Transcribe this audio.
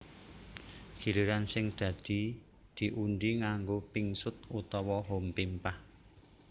Giliran sing dadi diundhi nganggo pingsut utawa hompimpah